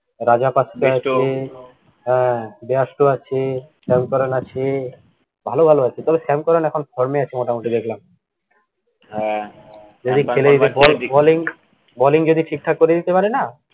rajat paidar আছে bradstone হ্যা bradstone আছে sam curran আছে, ভালোভালো আছে, তবে sam curran এখন form এ আছে মোটামুটি দেখলাম, হ্যা, যদি খেলে balling balling যদি ঠিকঠাক করে দিতে পারেনা